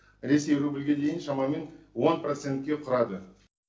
ресей рубльге дейін шамамен он процентке құрайды